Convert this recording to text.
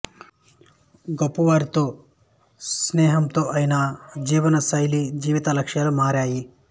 గొప్పవారితో స్నేహంతో ఆయన జీవన శైలి జీవిత లక్ష్యాలు మారాయి